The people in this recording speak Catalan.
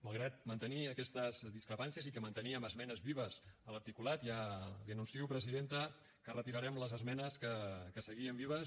malgrat mantenir aquestes discrepàncies i que manteníem esmenes vives a l’articulat ja li anuncio presidenta que retirarem les esmenes que seguien vives